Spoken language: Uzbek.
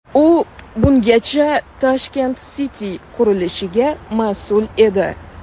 U bungacha Tashkent City qurilishiga mas’ul edi.